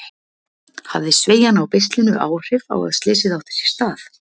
Hafði sveigjan á beislinu áhrif á að slysið átti sér stað?